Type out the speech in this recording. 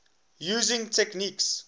using techniques